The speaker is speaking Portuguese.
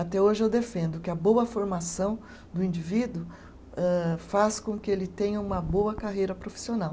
Até hoje eu defendo que a boa formação do indivíduo âh, faz com que ele tenha uma boa carreira profissional.